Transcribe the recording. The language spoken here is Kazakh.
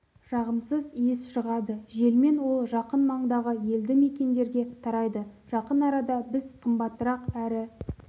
жағымсыз иіс шығады желмен ол жақын маңдағы елді мекендерге тарайды жақын арада біз қымбатырақ әрі